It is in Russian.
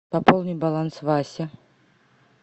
пополни баланс васе